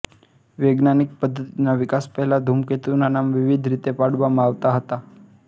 વૈજ્ઞાનીક પધ્ધતીના વિકાસ પહેલા ધૂમકેતુના નામ વિવિધ રીતે પાડવામાં આવતા હતા